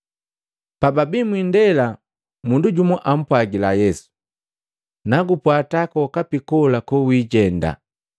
Pababi mwiindela, mundu jumwa ampwagila Yesu, “Nagupwata kwokapi kola kowijenda.”